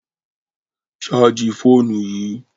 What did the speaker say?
Ṣààjì fóònù yìí!